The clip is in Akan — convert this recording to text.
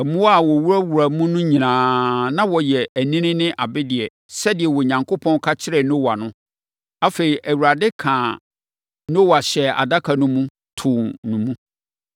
Mmoa a wɔwuraa mu no nyinaa, na wɔyɛ anini ne abereɛ, sɛdeɛ Onyankopɔn ka kyerɛɛ Noa no. Afei, Awurade kaa Noa hyɛɛ adaka no mu, too no mu.